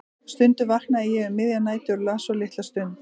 Stundum vaknaði ég um miðjar nætur og las svo litla stund.